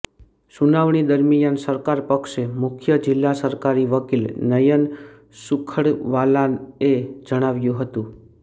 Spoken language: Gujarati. સુનાવણી દરમિયાન સરકારપક્ષે મુખ્ય જિલ્લા સરકારી વકીલ નયન સુખડવાલાએ જણાવ્યું હતું